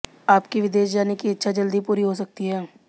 आपकी विदेश जाने की इच्छा जल्द ही पूरी हो सकती है